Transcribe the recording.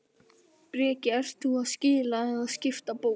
Breki: Ert þú að skila eða skipta bók?